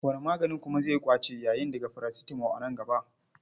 Wani maganin kuma zai ƙwace yayin daga parasitamo a nan gaba.